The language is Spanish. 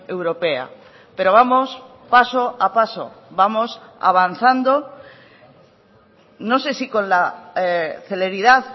europea pero vamos paso a paso vamos avanzando no sé si con la celeridad